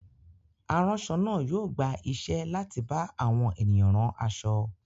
Aránṣọ náà yóò gba iṣẹ́ láti bá àwọn ènìyàn rán aṣọ.